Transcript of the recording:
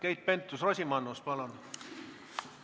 Keit Pentus-Rosimannus, palun!